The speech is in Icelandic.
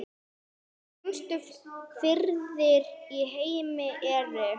Lengstu firðir í heimi eru